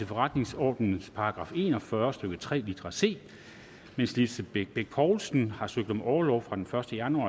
forretningsordenens § en og fyrre stykke tre litra c lisbeth bech poulsen har søgt om orlov fra den første januar